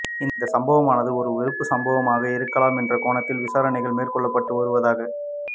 இந்த சம்பவமானது ஒரு வெறுப்பு சம்பவமாக இருக்கலாம் என்ற கோணத்தில் விசாரணைகள் மேற்கொள்ளப்படடு வருவதாக